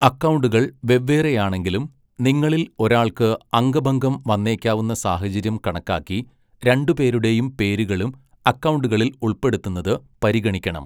അക്കൗണ്ടുകൾ വെവ്വേറെയാണെങ്കിലും, നിങ്ങളിൽ ഒരാൾക്ക് അംഗഭംഗം വന്നേക്കാവുന്ന സാഹചര്യം കണക്കാക്കി രണ്ട് പേരുടെയും പേരുകളും അക്കൗണ്ടുകളിൽ ഉൾപ്പെടുത്തുന്നത് പരിഗണിക്കണം.